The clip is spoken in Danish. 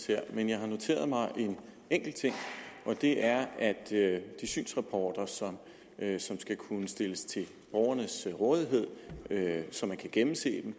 her men jeg har noteret mig en enkelt ting og det er at de synsrapporter som skal kunne stilles til borgernes rådighed så man kan gennemse